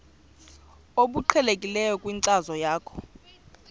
obuqhelekileyo kwinkcazo yakho